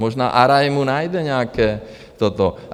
Možná Arajmu najde nějaké toto...